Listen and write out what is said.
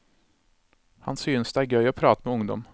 Han synes det er gøy å prate med ungdom.